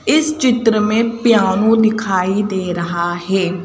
इस चित्र में पियानो दिखाई दे रहा है।